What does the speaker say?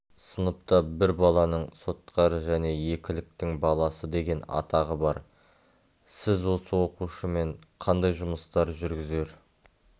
сыныпта бұл баланың сотқар және екіліктің баласы деген атағы бар сіз осы оқушымен қандай жұмыстар жүргізер